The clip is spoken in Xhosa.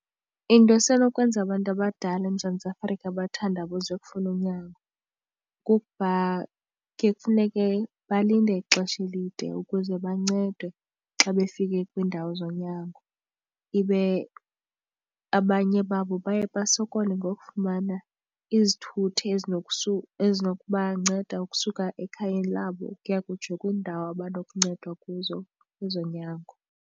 Into esenokwenza abantu abadala eMzantsi Afrika bathandabuze ukufuna unyango kukubha kuye kufuneke balinde ixesha elide ukuze bancedwe xa befike kwiindawo zonyango, ibe abanye babo baye basokole ngokufumana izithuthi ezinokubanceda ukusuka ekhayeni labo ukuya kutsho kwiindawo abanokuncedwa kuzo kwezonyango.